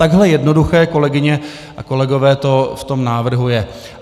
Takhle jednoduché, kolegyně a kolegové, to v tom návrhu je.